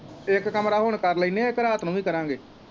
ਇੱਕ ਕਮਰਾ ਹੁਣ ਕਰ ਲੈਨੇ ਹੈ ਇੱਕ ਰਾਤ ਨੂੰ ਹੀ ਕਰਾਂਗੇ।